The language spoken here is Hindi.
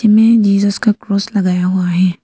में जीसस का क्रॉस लगाया हुआ है।